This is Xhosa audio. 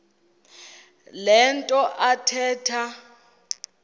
le nto athetha